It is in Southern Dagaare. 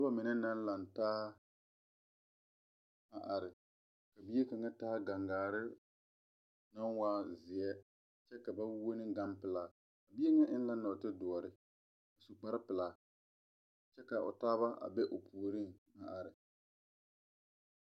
Nuba mene nang lang taa a arẽ ka bie kanga taa gang gari nang waa zie kye ka ba wuo ne gang pelaa bie nga engna noɔte dɔri a su kpare pelaa kye ka ɔ taaba a be ɔ poɔring a arẽ.